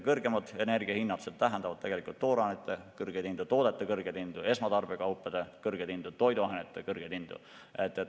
Kõrgemad energia hinnad tähendavad tegelikult toorainete kõrgeid hindu, toodete kõrgeid hindu, esmatarbekaupade kõrgeid hindu, toiduainete kõrgeid hindu.